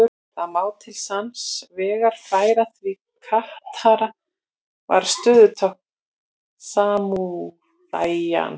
Það má til sanns vegar færa því katana var stöðutákn samúræjans.